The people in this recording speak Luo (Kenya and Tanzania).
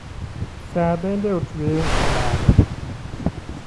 Saa bende otueyo e bade.